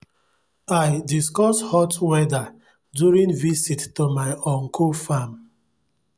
i discuss hot weather during visit to my uncle farm